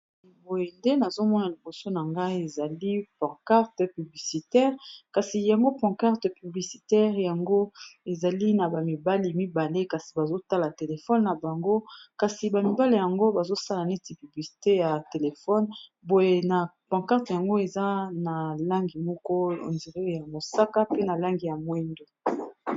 Boye nde nazomona liboso na ngai ezali ponquarte publicitaire kasi yango, panquarte publicitaire yango ezali na ba mibali mibale kasi bazotala téléphone na bango kasi ba mibale yango bazosala neti publicité ya téléphone boye na ponquarte yango eza na langi moko on dire ya mosaka pe na langi ya moyindo.